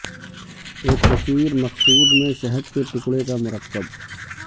ایک کثیر مقصود میں شہد کے ٹکڑے کا مرکب